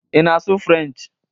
Ị na-asụ French?